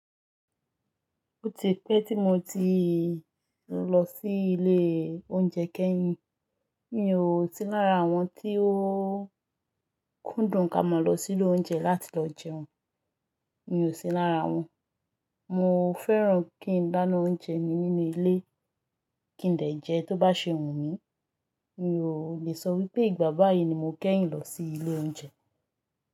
Ó ti pẹ́ tí mo ti lọ sí ilé oúnjẹ kẹ́yìn. Mi ò sí lára àwọn tí ó kúndùn ká mọ̀ lọ sílẹ̀ oúnjẹ láti lọ jẹun, mi ò sí lára wọn. Mo fẹ́ràn kí n dáná oúnjẹ mi nínú ilé, kí n dè jẹ tó bá ṣe wù mí. Mi ò lè sọ wípé ìgbà báyìí ni mo kẹ́yìn lọ sí ilé oúnjẹ.